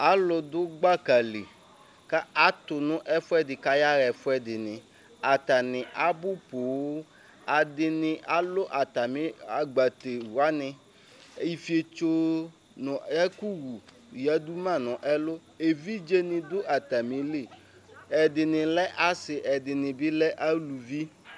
Alʋ du gbaka li atʋnʋ ɛfʋɛdi kʋ ayaɣa ɛfʋdi atani abʋ poo ɛdini alʋ atmi agbate wani ifietso nʋ ɛkʋ wʋ yadu ma nʋ ɛlʋ evidze ni dʋ atamili ɛdini lɛ asi ɛdini lɛ alʋvi